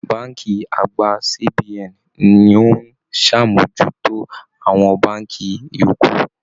Bánkì àgbà CBN ní o n sàmójútó àwọn bánkì yòókù.